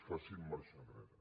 facin marxa enrere